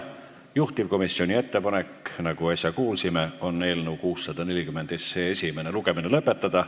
Nagu äsja kuulsime, on juhtivkomisjoni ettepanek eelnõu 640 esimene lugemine lõpetada.